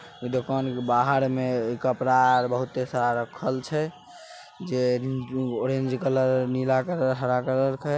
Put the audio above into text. दुकान के बाहर में कपड़ा आर बहुते सारा राखल छै ऑरेंज कलर नीला कलर हरा कलर ।